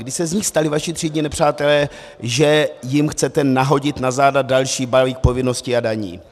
Kdy se z nich stali vaši třídní nepřátelé, že jim chcete nahodit na záda další balík povinností a daní.